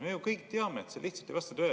Me ju kõik teame, et see lihtsalt ei vasta tõele.